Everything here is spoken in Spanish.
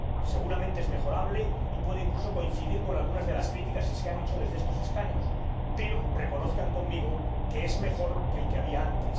Seguramente es mejorable, y puedo, incluso, coincidir con algunas de las críticas que se han hecho desde estos escaños, pero reconozcan conmigo que es mejor que el que había antes.